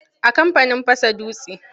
A kamfanin fasa dutse.